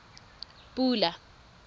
pula